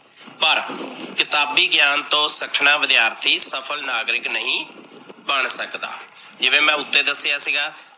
ਪਰ ਕਿਤਾਬੀ ਗਿਆਨ ਤੋਂ ਸੱਖਣਾ ਵਿਦਿਆਰਥੀ ਸਫਲ ਨਾਗਰਿਕ ਨਹੀਂ ਬਣ ਸਕਦਾ। ਜਿਵੇਂ ਮੈ ਉੱਤੇ ਦਸਿਆ ਸੀਗਾ